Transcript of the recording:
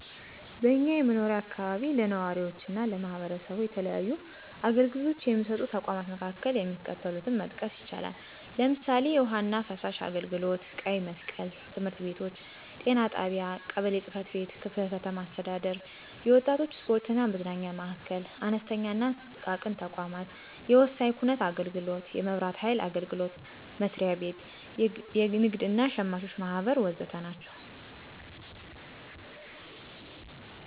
በእኛ የመኖሪያ አካባቢ ለነዋሪዎችና ለማህበረሰቡ የተለያዩ አገልግሎቶች የሚሰጡ ተቋማት መካከል የሚከተሉትን መጥቀስ ይቻላል፦ ለምሳሌ፣ የውሀና ፍሳሽ አገልግሎት፣ ቀይ መስቀል፣ ትምህርት ቤቶች፣ ጤና ጣቢያ፣ ቀበሌ ጽፈት ቤት፣ ክፍለ ከተማ አስተዳደር፣ የወጣቶች ስፖርትና መዝናኛ ማዕከል፣ አነስተኛና ጥቃቅን ተቋማት፣ የወሳኝ ኩነት አገልግሎት፣ የመብራት ሀይል አገልግሎት መስሪያ ቤት፣ የንግድ እና ሸማቾች ማህበር ወዘተ ናቸው።